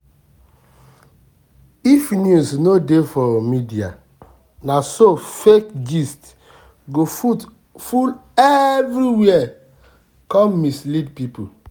if news no dey for media naso fake gist go full everywhere come mislead people.